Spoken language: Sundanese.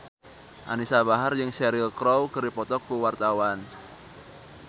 Anisa Bahar jeung Cheryl Crow keur dipoto ku wartawan